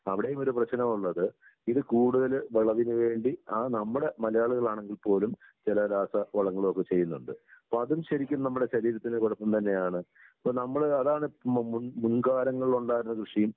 അവിടെയും ഒരു പ്രശ്നമുള്ളത് ഇത് കൂടുതല് വിളവിന് വേണ്ടി അത് നമ്മുടെ മലയാളികൾ ആണെങ്കിൽ പോലും ചില രാസവളങ്ങളൊക്കെ ചെയ്യുന്നുണ്ട്. അപ്പൊ അതും നമ്മുടെ ശരീരത്തിന് കൊഴപ്പം തന്നെയാണ്. ഇപ്പൊ നമ്മള് അതാണ് മുൻ മുൻ മുൻകാലങ്ങളിലുണ്ടായിരുന്ന കൃഷിയും